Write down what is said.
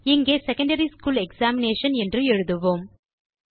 இங்கே secondary school examination என்று எழுதுவோம்